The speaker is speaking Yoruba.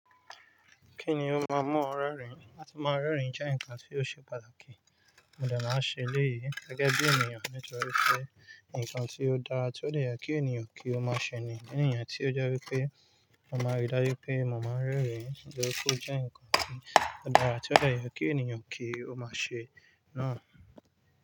Kíni ó máa mu ọ rẹ́rìn? Láti máa rẹ́rìn jẹ́ nǹkan tí ó ṣe pàtàkì. Mo dà máa ṣe léyìí gẹ́gẹ́ bí ènìyàn nítorí pé nǹkan tí ó dára tí ó de yẹ kí ènìyàn kí ó máa ṣe ni. Ní ìrìnà tí ó jẹ́ wípé mo máa rí dájú pé mo máa ń rẹ́rìn nítorí pé ó jẹ́ nǹkan tí ó dára tí ó dẹ yẹ kí ènìyàn kí ó máa ṣe náà.